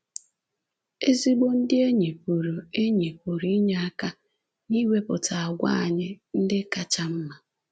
Ezigbo ndị enyi pụrụ enyi pụrụ inye aka n’iwepụta àgwà anyị ndị kacha mma.